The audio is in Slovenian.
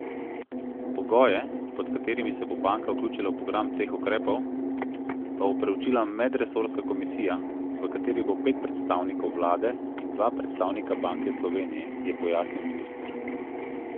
Pogoje, pod katerimi se bo banka vključila v program teh ukrepov, pa bo preučila medresorska komisija, v kateri bo pet predstavnikov vlade in dva predstavnika Banke Slovenije, je pojasnil minister.